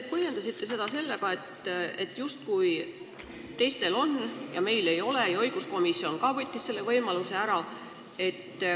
Te põhjendasite seda sellega, justkui teistel on ja meil ei ole, ja õiguskomisjon võttis ka selle võimaluse ära.